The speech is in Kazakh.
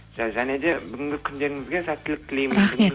және де бүгінгі күндеріңізге сәттілік тілеймін рахмет